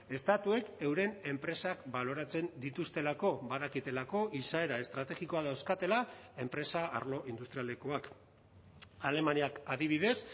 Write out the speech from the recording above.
estatuek euren enpresak baloratzen dituztelako badakitelako izaera estrategikoa dauzkatela enpresa arlo industrialekoak alemaniak adibidez